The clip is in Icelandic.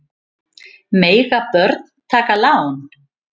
Mega börn taka lán?